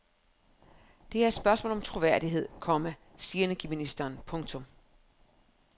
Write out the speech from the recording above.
Det er et spørgsmål om troværdighed, komma siger energiministeren. punktum